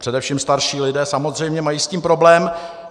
Především starší lidé samozřejmě mají s tím problém.